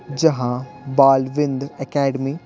जहां बालविंद्र अकेडमी --